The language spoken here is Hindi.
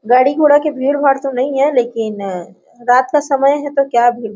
गाड़ी-घोड़ा के भीड़-भाड़ तो नहीं है लेकिन अ रात का समय है तो क्या --